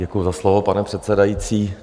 Děkuji za slovo, pane předsedající.